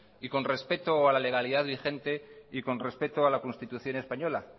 y con respeto a la legalidad vigente y con respeto a la constitución española